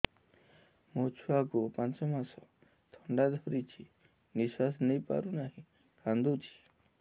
ମୋ ଛୁଆକୁ ପାଞ୍ଚ ମାସ ଥଣ୍ଡା ଧରିଛି ନିଶ୍ୱାସ ନେଇ ପାରୁ ନାହିଁ କାଂଦୁଛି